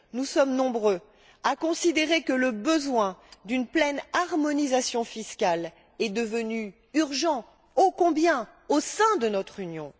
Nous sommes nombreux à considérer que le besoin d'une pleine harmonisation fiscale est devenu urgent, ô combien, au sein de notre Union.